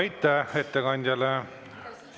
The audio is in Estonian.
Aitäh ettekandjale!